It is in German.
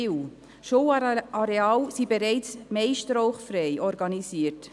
Die meisten Schulareale sind bereits rauchfrei organisiert.